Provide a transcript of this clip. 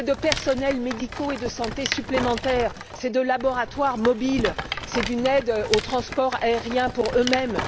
C'est de personnels médicaux et de santé supplémentaires, c'est de laboratoires mobiles, c'est d'une aide au transport aérien pour eux mêmes.